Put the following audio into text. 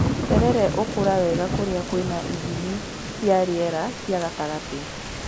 Terere ũkũra wega kũrĩa kwĩna ithimi cia rĩera cia gatagatĩ.